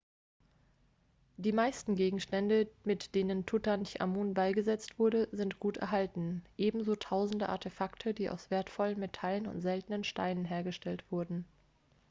die meisten gegenstände mit denen tutanchamun beigesetzt wurde sind gut erhalten ebenso tausende artefakte die aus wertvollen metallen und seltenen steinen hergestellt wurden